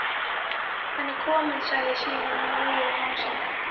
Hann er kominn sagði Símon móður og másandi.